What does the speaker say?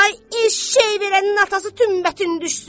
"Ay eşşək verənin atası tümbətin düşsün!